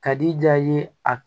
Ka di jaa ye a